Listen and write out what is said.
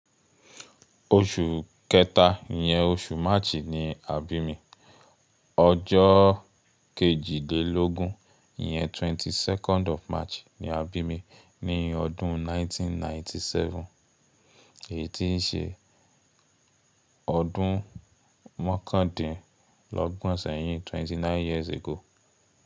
Oṣù kẹta yen, oṣù March ni a bí mi. Ọjọ́ kejìdínlógún yen, twenty second of March ni a bí mi ní ọdún nineteen ninety seven. Èyí tíì ṣe ọdún mọ́kàndínlọ́gbọ̀n sẹyin, twenty nine years ago.